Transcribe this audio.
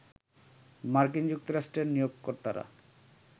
মার্কিন যুক্তরাষ্ট্রের নিয়োগকর্তারা